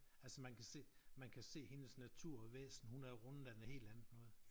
Altså man kan se man kan se hendes natur væsen hun er rundet af noget helt andet noget